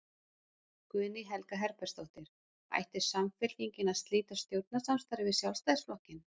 Guðný Helga Herbertsdóttir: Ætti Samfylking að slíta stjórnarsamstarfi við Sjálfstæðisflokkinn?